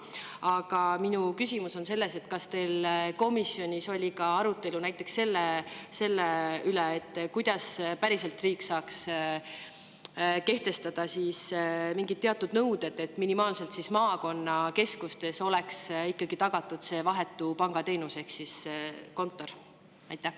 Aga minu küsimus on selline: kas teil komisjonis oli ka arutelu selle üle, kuidas päriselt saaks riik kehtestada mingid teatud nõuded, et minimaalselt maakonnakeskustes oleks ikkagi tagatud see vahetu pangateenus ehk kontor?